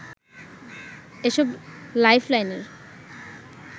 এসব লাইফলাইনের